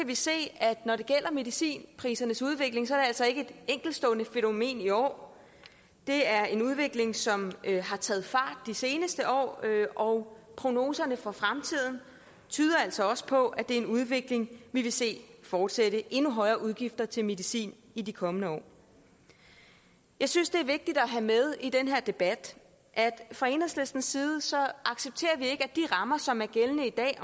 vi se at når det gælder medicinprisernes udvikling er det altså ikke et enkeltstående fænomen i år det er en udvikling som har taget fart de seneste år og prognoserne for fremtiden tyder altså også på at det er en udvikling vi vil se fortsætte endnu højere udgifter til medicin i de kommende år jeg synes det er vigtigt at have med i den her debat at fra enhedslistens side accepterer vi ikke at de rammer som er gældende i dag